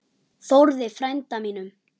Þórði frænda mínum!